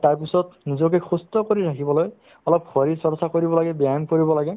আৰু তাৰপিছত নিজকে সুস্থ্য কৰি ৰাখিবলৈ অলপ শৰীৰ চৰ্চা কৰিব লাগে ব্যায়াম কৰিব লাগে